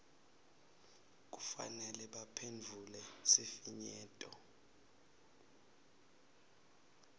kufanele baphendvule sifinyeto